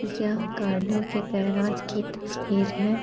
यह गाड़ियों कें गेराज की तस्वीर है।